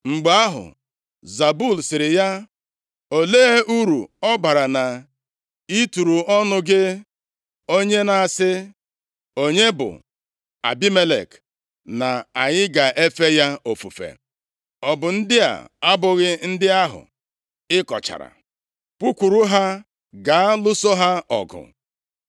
Mgbe ahụ, Zebul sịrị ya, “Olee uru ọ bara na ị turu ọnụ, gị onye na-asị, ‘Onye bụ Abimelek na anyị ga-efe ya ofufe?’ Ọ bụ ndị a abụghị ndị ahụ ị kọchara? Pụkwuru ha gaa lụso ha ọgụ.”